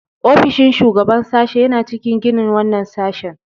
Ofishin shugaban sashe yana cikin ginin wannan sashen.